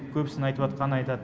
көбісіні айтыватқанын айтады